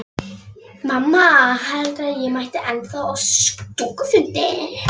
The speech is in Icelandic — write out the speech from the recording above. Mamma heldur að ég mæti ennþá á stúkufundi.